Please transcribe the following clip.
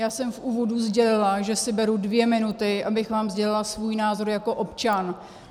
Já jsem v úvodu sdělila, že si beru dvě minuty, abych vám sdělila svůj názor jako občan.